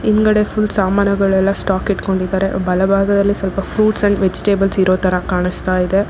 ಮುಂದ್ಗಡೆ ಫುಲ್ ಸಾಮಾನುಗಳೆಲ್ಲ ಸ್ಟಾಕ್ ಇಟ್ಕೊಂಡಿದ್ದಾರೆ ಬಲಭಾಗದಲ್ಲಿ ಸ್ವಲ್ಪ ಫ್ರೂಟ್ಸ್ ಅಂಡ್ ವೆಜಿಟೇಬಲ್ಸ್ ಇರೋ ತರ ಕಾಣಸ್ತಾ ಇದೆ.